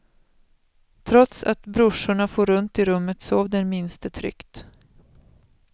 Trots att brorsorna for runt i rummet, sov den minste tryggt.